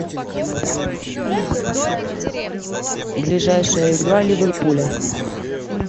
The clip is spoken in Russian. ближайшая игра ливерпуля